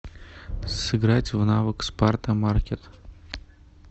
сыграть в навык спарта маркет